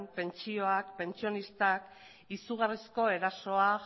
pentsioak pentsionistak izugarrizko erasoa